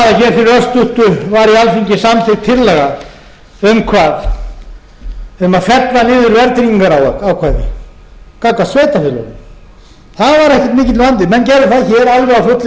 samþykkt tillaga um hvað um að fella niður verðtryggingarákvæði gagnvart sveitarfélögum það var ekkert mikill vandi menn gerðu það hér alveg á fullri ferð allir ég studdi það og háttvirtir þingmenn